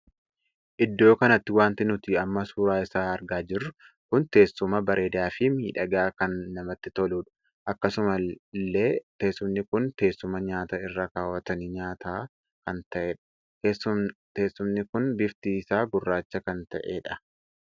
Iddoo kanatti wanti nuti amma suuraa isaa argaa jirru kun teessuma bareedaafii miidhagaa kan namatti toludha. akkasuma illee teessumni kun teessuma nyaata irra kaawwatanii nyaachaata kan tahedha. teessumni kun bifti isaa gurraacha kan tahedha.